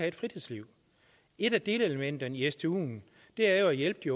et fritidsliv et af delelementerne i stuen er jo at hjælpe de